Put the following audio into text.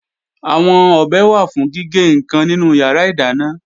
Àwọn ọ̀bẹ wà fún gígé ǹkan nínú yàrá ìdáná